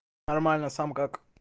нормально сам как